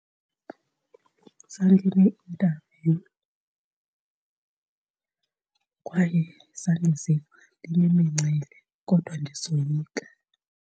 Zandine-interview kwaye zandiziva ndinemincili kodwa ndisoyika.